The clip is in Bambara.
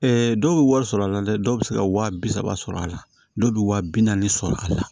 dɔw bɛ wari sɔrɔ a la dɛ dɔw bɛ se ka wa bi saba sɔrɔ a la dɔw bɛ wa bi naani sɔrɔ a la